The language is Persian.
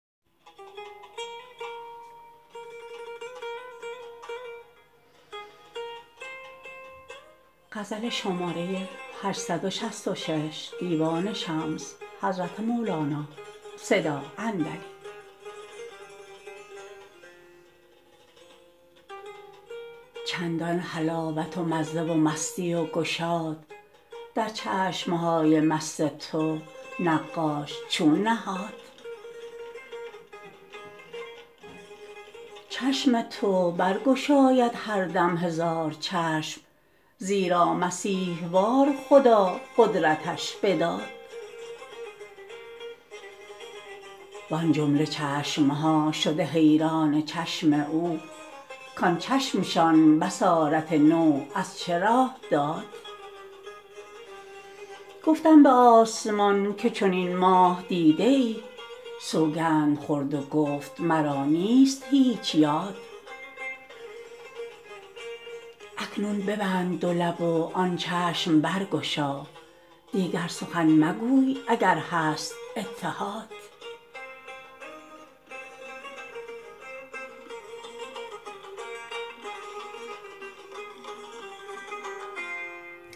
چندان حلاوت و مزه و مستی و گشاد در چشم های مست تو نقاش چون نهاد چشم تو برگشاید هر دم هزار چشم زیرا مسیح وار خدا قدرتش بداد وان جمله چشم ها شده حیران چشم او کان چشمشان بصارت نو از چه راه داد گفتم به آسمان که چنین ماه دیده ای سوگند خورد و گفت مرا نیست هیچ یاد اکنون ببند دو لب و آن چشم برگشا دیگر سخن مگوی اگر هست اتحاد